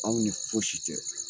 Anw ni fosi tɛ